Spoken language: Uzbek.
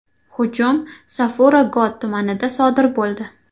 Hujum Safura Got tumanida sodir bo‘ldi.